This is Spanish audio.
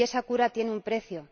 Y esa cura tiene un precio.